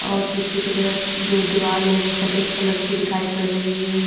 और पीछे की तरफ जो दीवाल है वो सफेद कलर की दिखाई पड़ रही है।